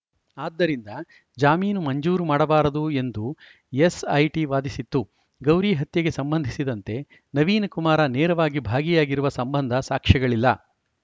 ಆದ್ದರಿಂದ ಜಾಮೀನು ಮಂಜೂರು ಮಾಡಬಾರದು ಎಂದು ಎಸ್‌ಐಟಿ ವಾದಿಸಿತ್ತು ಗೌರಿ ಹತ್ಯೆಗೆ ಸಂಬಂಧಿಸಿದಂತೆ ನವೀನಕುಮಾರ್‌ ನೇರವಾಗಿ ಭಾಗಿಯಾಗಿರುವ ಸಂಬಂಧ ಸಾಕ್ಷ್ಯಗಳಿಲ್ಲ